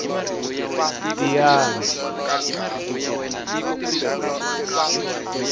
tiyani